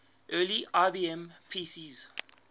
early ibm pcs